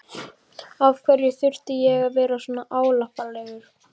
Af hverju þurfti ég að vera svona álappalegur?